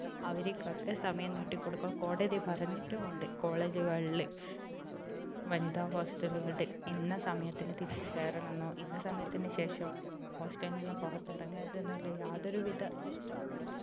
അവർക്കൊക്കെ സമയം നീട്ടി കൊടുക്കാൻ കോടതി പറഞ്ഞിട്ടും ഉണ്ട് college കളില് വനിതാ hostel കളിൽ ഇന്ന സമയത്തിന് തിരിച്ചു കയറണമെന്നോ ഇന്ന സമയത്തിന് ശേഷം hostel കളിൽ നിന്നു പുറത്തിറങ്ങരുതെന്നോ ഉള്ള യാതൊരു വിധ